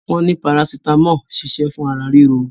Wọn ní paracetamol ṣiṣẹ́ fún ara ríro